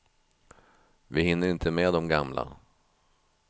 Vi hinner inte med de gamla.